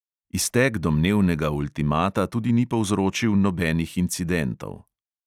Iztek domnevnega ultimata tudi ni povzročil nobenih incidentov.